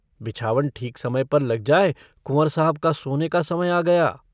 बिछावन ठीक समय पर लग जाए, कुंँवर साहब का सोने का समय आ गया।